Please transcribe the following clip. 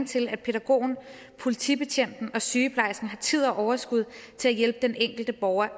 til at pædagogen politibetjenten og sygeplejersken har tid og overskud til at hjælpe den enkelte borger